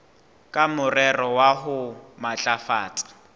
ka morero wa ho matlafatsa